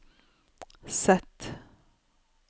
Z